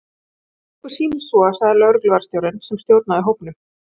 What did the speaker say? Ef okkur sýnist svo sagði lögregluvarðstjórinn sem stjórnaði hópnum.